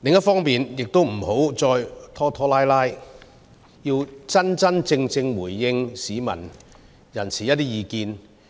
另一方面亦不要再拖拖拉拉，真真正正回應市民的意見。